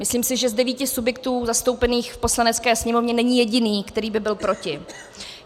Myslím si, že z devíti subjektů zastoupených v Poslanecké sněmovně není jediný, který by byl proti.